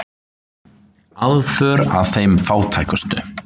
Aðför að þeim fátækustu